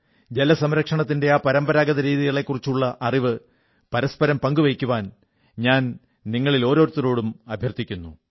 ജലസംരക്ഷണത്തിന്റെ ആ പരമ്പരാഗത രീതികളെക്കുറിച്ചുള്ള അറിവ് പരസ്പരം പങ്കുവയ്ക്കാൻ ഞാൻ നിങ്ങളേവരോടും അഭ്യർഥിക്കുന്നു